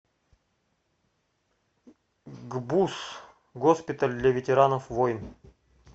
гбуз госпиталь для ветеранов войн